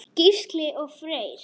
Gísli og Freyr.